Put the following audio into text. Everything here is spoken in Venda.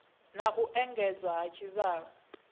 na u engedzwa ha tshivhalo